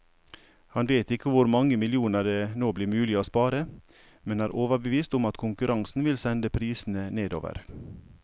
Han vet ikke hvor mange millioner det nå blir mulig å spare, men er overbevist om at konkurransen vil sende prisene nedover.